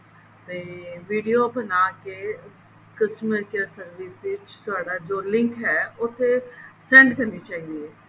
ਤੇ video ਬਣਾਕੇ customer care service ਵਿੱਚ ਤੁਹਾਡਾ ਜੋ link ਹੈ ਉਸਤੇ send ਕਰਨੀ ਚਾਹੀਦੀ ਹੈ